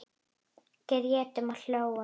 Grétum og hlógum.